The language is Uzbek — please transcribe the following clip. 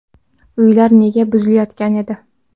Uylar nega buzilayotgan edi?.